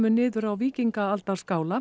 niður á